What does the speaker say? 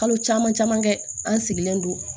Kalo caman caman kɛ an sigilen don